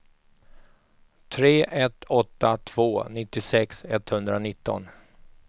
tre ett åtta två nittiosex etthundranitton